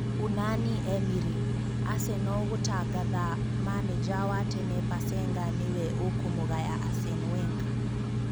Unani Emiri: Aseno gũtangatha manenja wa tene Pasenga nĩwe ũkũmũgaya Asen Wenga.